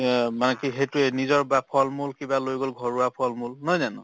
অ, মানে কি সেইটোয়ে নিজৰ বা ফল-মূল কিবা লৈ গ'ল ঘৰুৱা ফল-মূল নহয় জানো